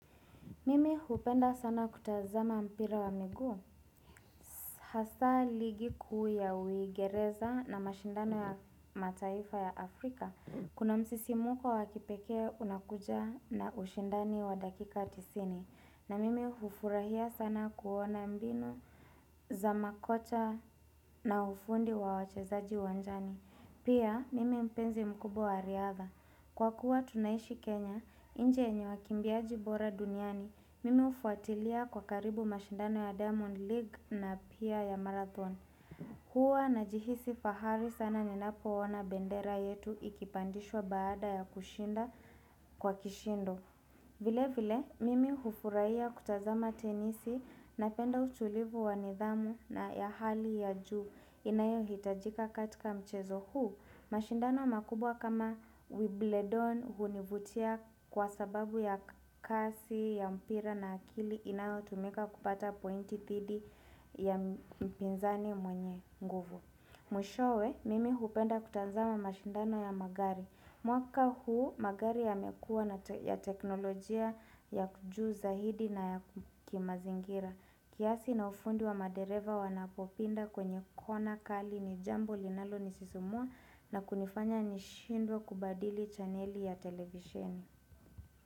Mimi hupenda sana kutazama mpira wa miguu. Hasa ligi kuu ya uigereza na mashindano ya mataifa ya Afrika. Kuna msisimuko wa kipekee unakuja na ushindani wa dakika tisini. Na mimi ufurahia sana kuona mbinu za makocha na ufundi wa wachezaji uwanjani. Pia mimi mpenzi mkubwa wa riadha. Kwa kuwa tunaishi Kenya, inchi yenye wakimbiaji bora duniani. Mimi ufuatilia kwa karibu mashindano ya Diamond League na pia ya Marathon Huwa najihisi fahari sana ninapo ona bendera yetu ikipandishwa baada ya kushinda kwa kishindo vile vile, mimi hufuraiya kutazama tenisi napenda utulivu wa nidhamu na ya hali ya juu inayo hitajika katika mchezo huu, mashindano makubwa kama wibledon hunivutia kwa sababu ya kasi, ya mpira na akili inayo tumika kupata pointi thidi ya mpinzani mwenye nguvu. Mwishowe, mimi hupenda kutazama mashindano ya magari. Mwaka huu, magari yamekuwa ya teknolojia yako juu zaidi na ya kimazingira. Kiasi na ufundi wa madereva wanapopinda kwenye kona kali ni jambo linalo ni sisimua na kunifanya ni shindwe kubadili chaneli ya televisheni.